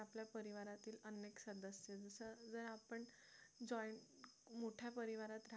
जर आपण joint मोठ्या परिवारात राहत